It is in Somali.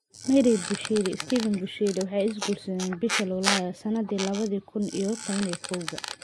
Mary Bushiri iyo Shepherd Bushiri waxay is guursadeen bishii Luulyo sanadii labadii kuun iyo kow iyo tobanka.